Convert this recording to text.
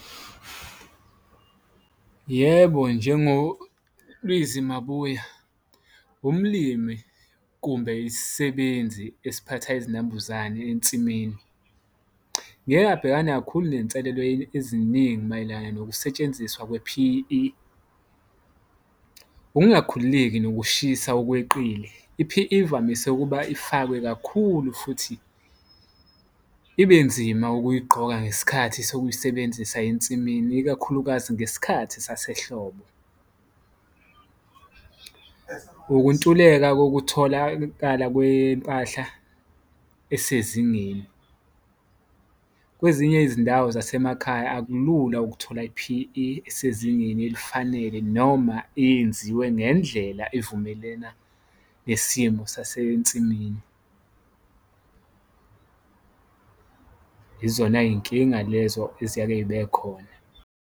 Yebo, njengoLizwi Mabuya umlimi kumbe isisebenzi esiphatha izinambuzane ensimini, ngeke abhekane kakhulu nenselelo eziningi mayelana nokusetshenziswa kwe-P_E, ukungakhululeki nokushisa okweqile. I-P_E ivamise ukuba ifakwe kakhulu futhi ibe nzima ukuyigqoka ngesikhathi sokuyisebenzisa ensimini, ikakhulukazi ngesikhathi sasehlobo ukwentuleka kokutholakala kwempahla esezingeni. Kwezinye izindawo zasemakhaya akulula ukuthola i-P_E esezingeni elifanele, noma eyenziwe ngendlela evumelena nesimo sasensimini izona yinkinga lezo eziyake zibe khona.